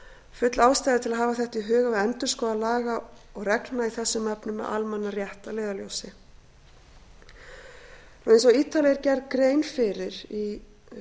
full ástæða er til að hafa þetta í huga við endurskoðun laga og reglna í þessum efnum með almannarétt að leiðarljósi eins og ítarlega er gerð grein fyrir í